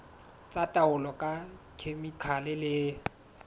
tsa taolo ka dikhemikhale le